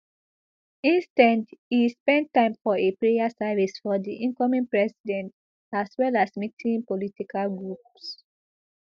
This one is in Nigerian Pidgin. instead e spend time for a prayer service for di incoming president as well as meeting political groups